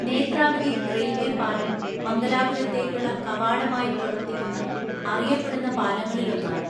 Netravati railway പാലം മംഗലാപുരത്തേക്കുള്ള കവാടമായി പ്രവർത്തിക്കുന്ന, അറിയപ്പെടുന്ന പാലങ്ങളിലൊന്നാണ്.